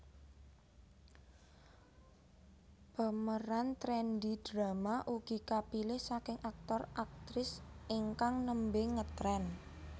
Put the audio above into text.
Pemeran trendy drama ugi kapilih saking aktor aktris ingkang nembe ngetren